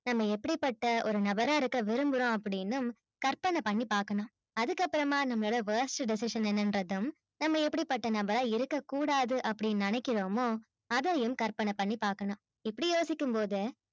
நம்ம எப்பிடி பட்ட ஒரு நபரா இருக்க விரும்புறோம் அப்பிடின்னு கற்பனை பண்ணி பாக்கணும் அதுக்கப்பறமா நம்ம worst decision என்னங்கின்றதும் நம்ம எப்பிடி பட்ட நபரா இருக்க கூடாதுன்னு அப்பிடி நேனைக்குரோமோ அதையும் கற்பனை பண்ணி பாக்கணும் இப்பிடி யோசிக்கும் போது